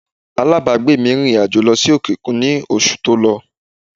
Alábàágbé mi rìnrìn àjò lọ sí òkè òkun ní oṣù tó lọ